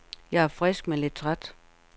Jeg er frisk, men lidt træt.